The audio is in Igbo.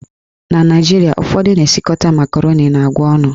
Na Naijiria, ụfọdụ na esikọta makaroni na agwa ọnụ.